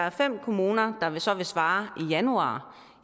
er fem kommuner der så vil svare i januar